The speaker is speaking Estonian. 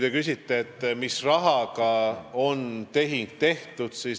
Te küsisite, mis rahaga on tehing tehtud.